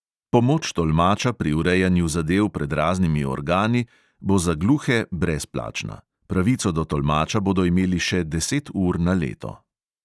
Pomoč tolmača pri urejanju zadev pred raznimi organi bo za gluhe brezplačna – pravico do tolmača bodo imeli še deset ur na leto.